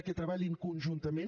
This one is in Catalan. que treballin conjuntament